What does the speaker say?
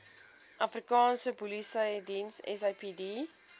afrikaanse polisiediens sapd